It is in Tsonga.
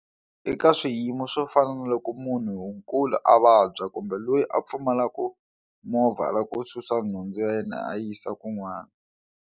Eka swiyimo swo fana na loko munhu nkulu a vabya kumbe loyi a pfumalaku movha loko u susa nhundzu ya yena a yisa kun'wana.